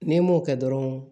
N'i m'o kɛ dɔrɔn